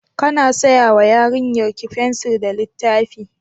Kana saya wa yarinyarki fensir da littafi?